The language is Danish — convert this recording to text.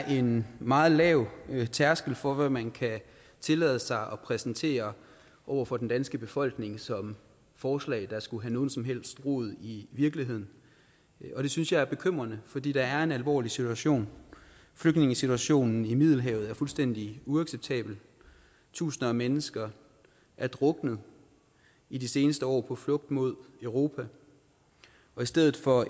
en meget lav tærskel for hvad man kan tillade sig at præsentere over for den danske befolkning som forslag der skulle have nogen som helst rod i virkeligheden og det synes jeg er bekymrende fordi der er en alvorlig situation flygtningesituationen i middelhavet er fuldstændig uacceptabel tusinder af mennesker er druknet i de seneste år på flugt mod europa og i stedet for